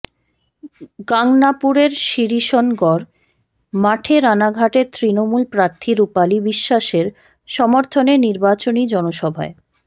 গাংনাপুরের শিরিষনগর মাঠে রানাঘাটের তৃণমূল প্রার্থী রূপালী বিশ্বাসের সমর্থনে নির্বাচনী জনসভায়